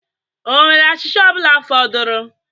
Ọ nwere achịcha ọ bụla fọdụrụ?